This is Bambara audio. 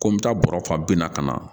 Ko n bɛ taa bɔrɔ fa binna ka na